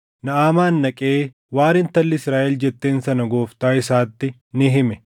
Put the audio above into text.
Naʼamaan dhaqee waan intalli Israaʼel jetteen sana gooftaa isaatti ni hime.